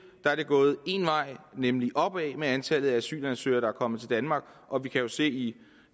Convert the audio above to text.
er gået én vej nemlig opad med antallet af asylansøgere der er kommet til danmark og vi kan jo se i